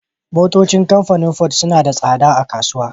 Motocin kamfanin ford sunada tsada a kasuwa